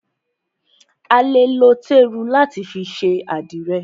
A lè lo téru láti fi ṣe àdìrẹ̀.